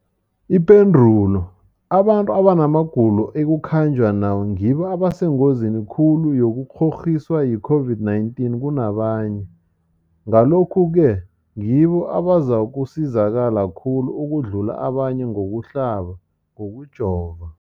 Ipendulo, abantu abanamagulo ekukhanjwa nawo ngibo abasengozini khulu yokukghokghiswa yi-COVID-19 kunabanye, Ngalokhu-ke ngibo abazakusizakala khulu ukudlula abanye ngokuhlaba, ngokujova.